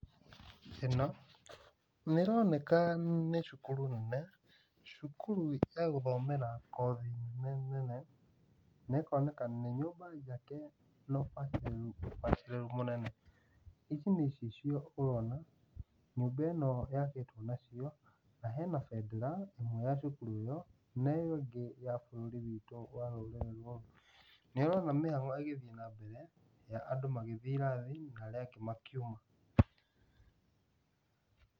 Ĩno nĩĩroneka nĩ cukuru nene, cukuru ya gũthomera kothi nene nene. Na ĩkoneka nĩ nyũmba njake na ũbacĩrĩru ũbacĩrĩru mũnene. Ici nĩ icicio ũrona nyũmba ĩno yakĩtwo nacio, na hena bendera ĩmwe ya cukuru ĩyo, na ĩyo ĩngĩ ya bũrũri witũ wa rũrĩrĩ rwa Nĩũrona mĩhango ĩgĩthiĩ na mbere ya andũ magĩthiĩ irathi na arĩa angĩ makiuma.